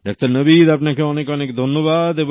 doctor Nabid আপনাকে অনেক অনেক ধন্যবাদ